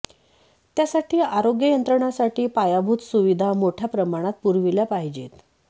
त्यासाठी आरोग्य यंत्रणांसाठी पायाभूत सुविधा मोठ्या प्रमाणात पुरविल्या पाहिजेत